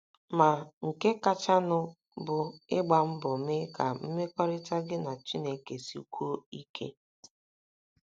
Ma, nke kachanụ bụ ịgba mbọ mee ka mmekọrịta gị na Chineke sikwuo ike.